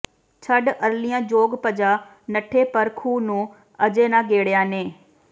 ਛੱਡ ਅਰਲੀਆਂ ਜੋਗ ਭਜਾ ਨਠੇ ਪਰ ਖੂਹ ਨੂੰ ਅਜੇ ਨਾ ਗੇੜਿਆ ਨੇ